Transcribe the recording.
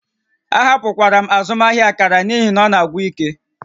Ahapụkwara m azụmaahịa akara n'ihi na ọ na-agwụ ike